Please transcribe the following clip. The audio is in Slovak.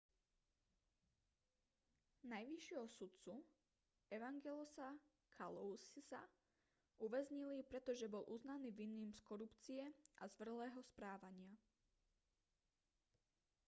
najvyššieho sudcu evangelosa kalousisa uväznili pretože bol uznaný vinným z korupcie a zvrhlého správania